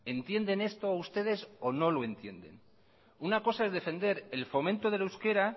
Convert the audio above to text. entienden esto ustedes o no lo entienden una cosa es defender el fomento del euskera